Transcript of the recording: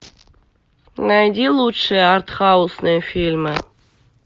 найди лучшие артхаусные фильмы